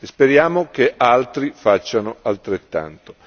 Speriamo che altri facciano altrettanto.